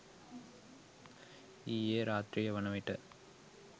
ඊයේ රාත්‍රිය වන විට